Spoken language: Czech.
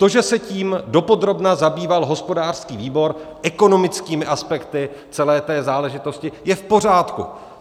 To, že se tím dopodrobna zabýval hospodářský výbor, ekonomickými aspekty celé té záležitosti, je v pořádku.